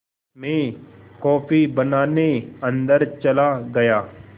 मैं कॉफ़ी बनाने अन्दर चला गया